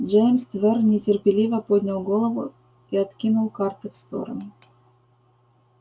джеймс твер нетерпеливо поднял голову и откинул карты в сторону